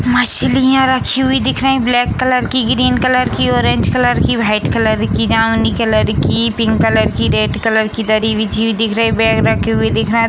मछलियां रखी हुई दिख रही है ब्लैक कलर की ग्रीन कलर की ऑरेंज कलर की व्हाइट कलर की जामुनी कलर की पिंक कलर की रेड कलर की दरी बिछी हुई दिख रही बैग रखे हुए दिख रहे हैं।